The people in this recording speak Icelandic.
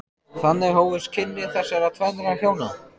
Þannig hófust kynni þessara tvennra hjóna.